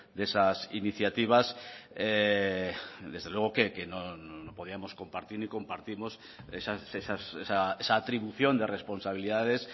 de esas iniciativas desde luego que no podíamos compartir ni compartimos esa atribución de responsabilidades